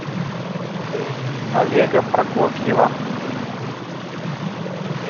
олега прокофьева